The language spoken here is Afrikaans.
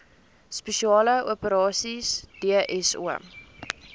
spesiale operasies dso